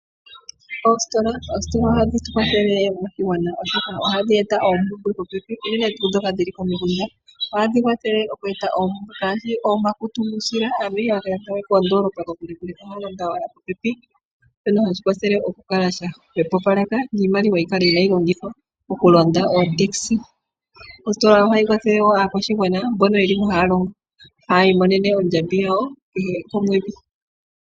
Oositola Oositola ohadhi tu kwathele moshigwana, oshoka ohadhi e ta oompumbwe popepi, unene tuu ndhoka dhi li komikunda. ohadhi kwathele oku eta oompumbwe ngaashi ooshako dhuusila, aantu ihaya ka landa we koondoolopa kokule, ihe ohaya landa owala popepi shono hashi hwepopaleke iimaliwa yi kale inaayi longithwa mokulanda otaxi. Ositola ohayi kwathele wo aakwashigwana mbono haya longo mo haa imonene oondjambi dhawo kehe omwedhi.